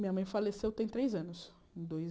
Minha mãe faleceu tem três anos, em dois